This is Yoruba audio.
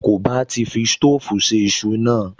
Kò bá ti fi sítóòfù se iṣu náà